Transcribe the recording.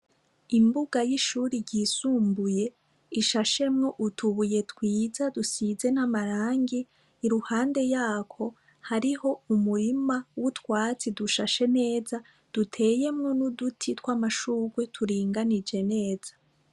Imbuga y'ishuri ryisumbuye ishashemwo utubuye twiza dusize n'amarangi iruhande yako hariho umurima w'utwatsi dushashe neza duteyemwo n'uduti tw'amashurwe turinganije neza.